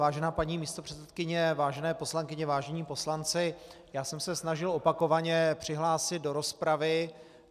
Vážená paní místopředsedkyně, vážené poslankyně, vážení poslanci, já jsem se snažil opakovaně přihlásit do rozpravy.